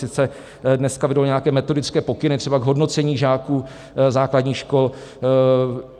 Sice dneska vyjdou nějaké metodické pokyny, třeba k hodnocení žáků základních škol.